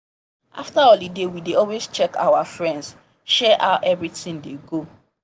after holiday we dey always check our friends share how everyting dey go